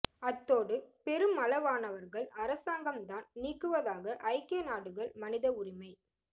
அத்தோடு பெருமளவானவர்கள் அரசாங்கம் தான் நீக்குவதாக ஐக்கிய நாடுகள் மனித உரிமை